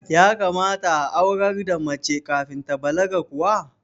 Ya kamata a aurar da mace kafin ta balaga kuwa?